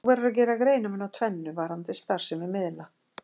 Þó verður að gera greinarmun á tvennu varðandi starfsemi miðla.